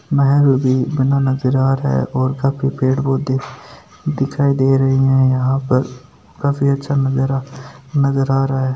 महल भी बना नज़र आ रहा है और काफी पेड़ पौधे दिखाई दे रहे है यहाँ पर काफी अच्छा नज़ारा नज़र आ रहा है।